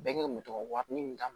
Bɛɛ kelen bɛ to ka warini min